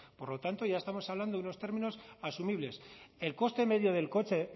por lo tanto ya estamos hablando de unos términos asumibles el coste medio del coche